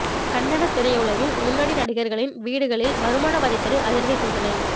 கன்னட திரையுலகின் முன்னணி நடிகர்களின் வீடுகளில் வருமான வரித் துறை அதிரடி சோதனை